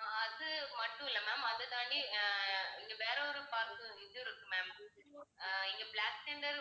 ஆஹ் அது மட்டும் இல்லை ma'am அதைத் தாண்டி அஹ் இங்க வேற ஒரு park உம் இது இருக்கு ma'am அஹ் இங்க பிளாக் தண்டர்